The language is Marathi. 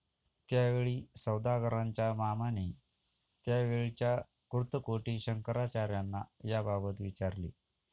त्यावेळी सौदागरांच्या मामाने त्यावेळच्या कुर्तकोटी शंकराचार्यांना याबाबत विचारले.